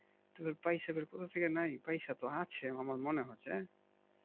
তো পয়সা তো কোথা থেকে নাই পয়সা তো আছে আমার মনে হচ্ছে